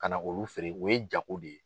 Ka na olu feere o ye jago de ye.